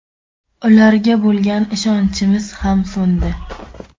Ularga bo‘lgan ishonchimiz ham so‘ndi.